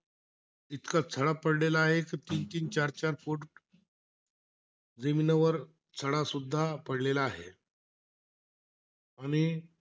इतका सडा पडलेला आहे, कि तीन-तीन, चार-चार फूट जमिनीवर सडासुद्धा पडलेला आहे. आणि,